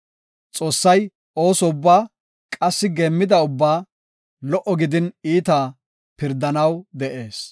Xoossay ooso ubbaa qassi geemmida ubbaa lo77o gidin iitaa pirdanaw de7ees.